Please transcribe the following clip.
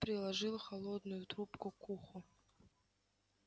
приложил холодную трубку к уху